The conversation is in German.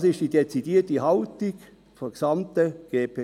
Dies ist die dezidierte Haltung der gesamten GPK.